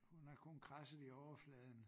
Hun har kun kradset i overfladen